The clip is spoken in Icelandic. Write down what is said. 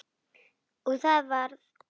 Og það varð úr.